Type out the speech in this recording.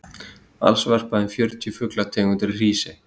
alls verpa um fjörutíu fuglategundir í hrísey